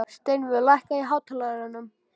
Steinvör, lækkaðu í hátalaranum.